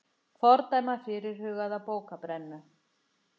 Fordæma fyrirhugaða bókabrennu